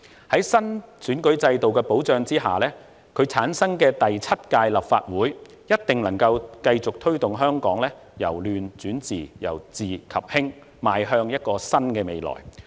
在新選舉制度保障下產生的第七屆立法會，一定能夠繼續推動香港由亂轉治、由治及興，邁向一個新的未來。